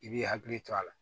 I b'i hakili to a la